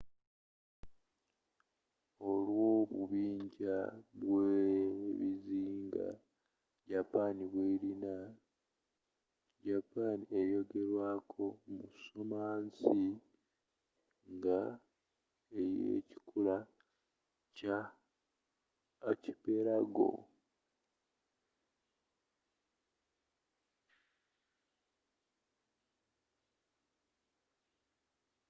olwobubinja bwebizinga japan bwerina japan eyogerwako mu ssomansi nga eyekikula kya archipelago